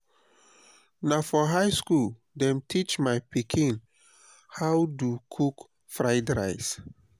na for high skool dem teach my pikin how do cook fried rice.